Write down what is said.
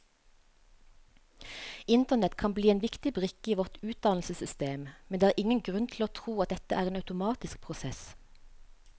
Internett kan bli en viktig brikke i vårt utdannelsessystem, men det er ingen grunn til å tro at dette er en automatisk prosess.